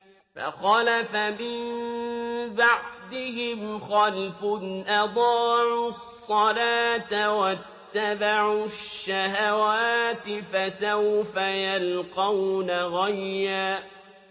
۞ فَخَلَفَ مِن بَعْدِهِمْ خَلْفٌ أَضَاعُوا الصَّلَاةَ وَاتَّبَعُوا الشَّهَوَاتِ ۖ فَسَوْفَ يَلْقَوْنَ غَيًّا